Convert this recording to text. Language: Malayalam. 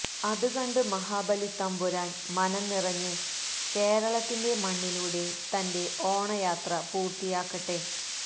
അത് കണ്ട് മഹാബലിത്തമ്പുരാന് മനം നിറഞ്ഞ് കേരളത്തിന്റെ മണ്ണിലൂടെ തന്റെ ഓണയാത്ര പൂര്ത്തിയാക്കട്ടെ